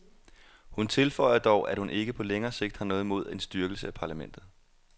Hun tilføjer dog, at hun ikke på længere sigt har noget imod en styrkelse af parlamentet.